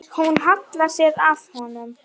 Hún hallar sér að honum.